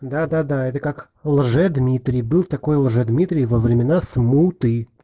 да-да-да это как лжедмитрий был такой лжедмитрий во времена смуты